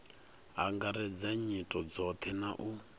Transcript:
angaredza nyito dzothe na u